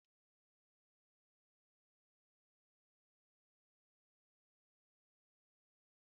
Agadi onye ọrụ ugbo kwuru amamihe ya site n’ilu ​​ezin’ụlọ ama ama.